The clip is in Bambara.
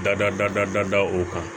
Dada o kan